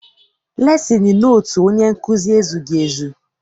Lesin notu onye nkụzi ezughị ezu.